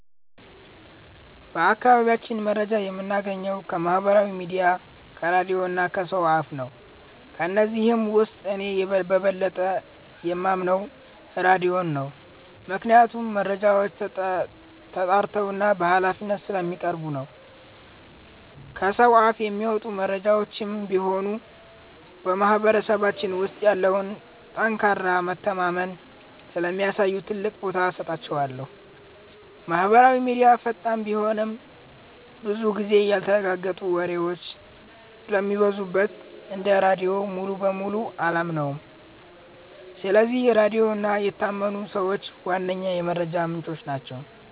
በአካባቢያችን መረጃ የምናገኘው ከማህበራዊ ሚዲያ፣ ከራድዮ እና ከሰው አፍ ነው። ከነዚህም ውስጥ እኔ በበለጠ የማምነው ራድዮን ነው፤ ምክንያቱም መረጃዎች ተጣርተውና በሃላፊነት ስለሚቀርቡ ነው። ከሰው አፍ የሚመጡ መረጃዎችም ቢሆኑ በማህበረሰባችን ውስጥ ያለውን ጠንካራ መተማመን ስለሚያሳዩ ትልቅ ቦታ እሰጣቸዋለሁ። ማህበራዊ ሚዲያ ፈጣን ቢሆንም፣ ብዙ ጊዜ ያልተረጋገጡ ወሬዎች ስለሚበዙበት እንደ ራድዮ ሙሉ በሙሉ አላምነውም። ስለዚህ ራድዮ እና የታመኑ ሰዎች ዋነኛ የመረጃ ምንጮቼ ናቸው።